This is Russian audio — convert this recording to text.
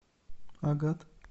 агат